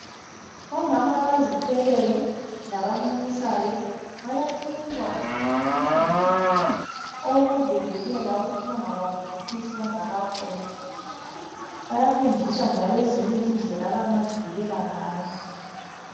Omama abazithweleyo labamunyisayo, bayanikwa amaphilisi awokuzivikela awokuthi bangabambi isisu bengakafuni, bayafundiswa njalo ezinye indlela abangazivikela ngayo.